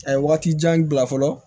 A ye waati jan bila fɔlɔ